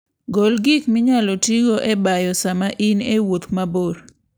Gol gik minyalo tigo e bayo sama in e wuoth mabor.